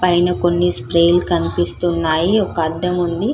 పైన కొన్ని స్ప్రే లు కనిపిస్తున్నాయి ఒక అద్దం ఉంది --